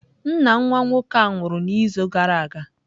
Nna nwa nwoke a nwụrụ n'izu gara aga